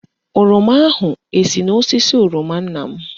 Oroma ahụ esi n'osisi oroma nna m?